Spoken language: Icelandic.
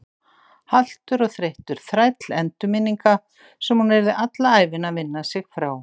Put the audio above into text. Haltur og þreyttur þræll endurminninga sem hún yrði alla ævina að vinna sig frá.